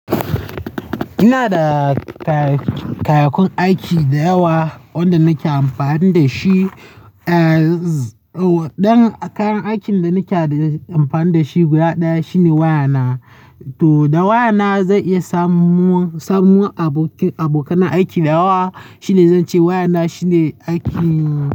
Ina da kayyakun aiki da yawa wanda nake amfani da shi. Eh, don kayan aikin da nake amfani da shi guda ɗaya shine waya na. To da waya na zan iya samun, samun abokanan aiki da yawa. Shi ne zan ce waya na shine aikin.